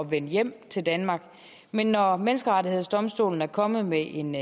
vende hjem til danmark men når menneskerettighedsdomstolen er kommet med en